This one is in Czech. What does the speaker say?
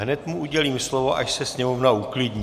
Hned mu udělím slovo, až se sněmovna uklidní.